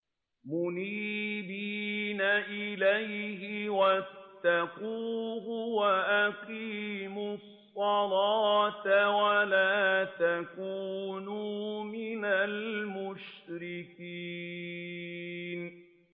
۞ مُنِيبِينَ إِلَيْهِ وَاتَّقُوهُ وَأَقِيمُوا الصَّلَاةَ وَلَا تَكُونُوا مِنَ الْمُشْرِكِينَ